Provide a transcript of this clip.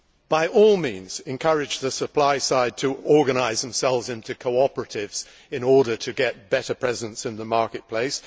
by all means encourage the supply side to organise themselves into cooperatives in order to get better presence in the market place